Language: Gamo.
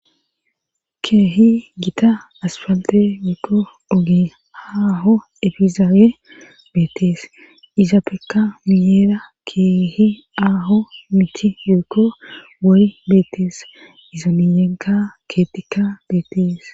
keehi gita aspante yeekko ogee haaho efizaawe beetees izaapeka miyeera keehi aaho michi yoekko wari beetees iza miyenka keetikka beetees